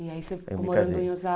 E aí você ficou morando em